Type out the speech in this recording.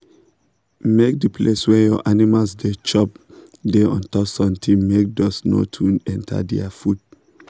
make de place wey your animals da chop da untop something make dust no too enter their food